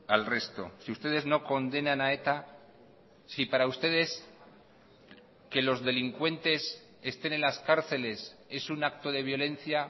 al resto si ustedes no condenan a eta si para ustedes que los delincuentes estén en las cárceles es un acto de violencia